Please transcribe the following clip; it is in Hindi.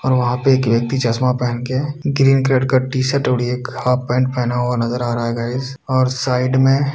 और वहाँ पे एक व्यक्ति चश्मा पहन के ग्रीन कलर का टी शर्ट और एक हाफ पैन्ट पहना हुआ नजर आ रहा है गाइस और साइड में --